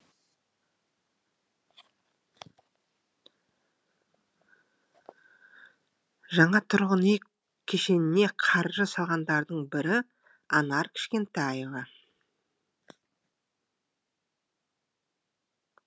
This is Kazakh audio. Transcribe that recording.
жаңа тұрғын үй кешеніне қаржы салғандардың бірі анар кішкентаева